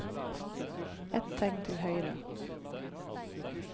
Ett tegn til høyre